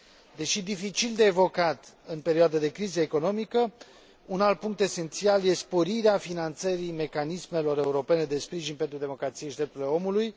Deși dificil de evocat în perioadă de criză economică, un alt punct esențial e sporirea finanțării mecanismelor europene de sprijin pentru democrație și drepturile omului.